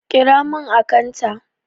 Ƙira mun akantat!